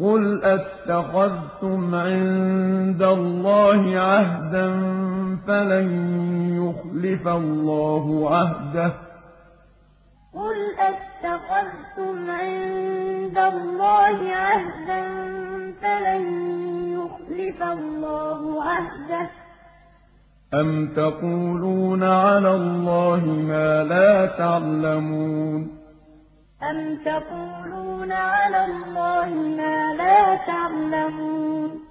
قُلْ أَتَّخَذْتُمْ عِندَ اللَّهِ عَهْدًا فَلَن يُخْلِفَ اللَّهُ عَهْدَهُ ۖ أَمْ تَقُولُونَ عَلَى اللَّهِ مَا لَا تَعْلَمُونَ وَقَالُوا لَن تَمَسَّنَا النَّارُ إِلَّا أَيَّامًا مَّعْدُودَةً ۚ قُلْ أَتَّخَذْتُمْ عِندَ اللَّهِ عَهْدًا فَلَن يُخْلِفَ اللَّهُ عَهْدَهُ ۖ أَمْ تَقُولُونَ عَلَى اللَّهِ مَا لَا تَعْلَمُونَ